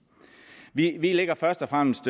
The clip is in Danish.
vi lægger først og fremmest